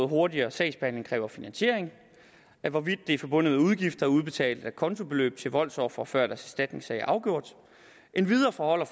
hurtigere sagsbehandling kræver finansiering hvorvidt det er forbundet med udgifter at udbetale acontobeløb til voldsofre før deres erstatningssag er afgjort endvidere forholder